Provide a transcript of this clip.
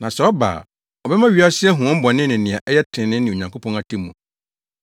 Na sɛ ɔba a, ɔbɛma wiasefo ahu wɔn bɔne ne nea ɛyɛ trenee ne Onyankopɔn atemmu.